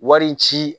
Wari ci